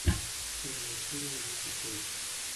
первая серия вики фэйтс